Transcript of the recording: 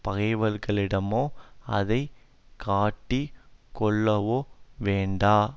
பகைவர்களிடமோ அதை காட்டிக் கொள்ளவோ வேண்டா